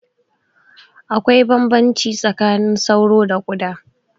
Akwai bambamci tsakanin sauro da ƙuda